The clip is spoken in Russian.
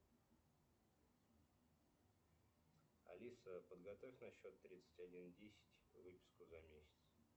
алиса подготовь на счет тридцать один десять выписку за месяц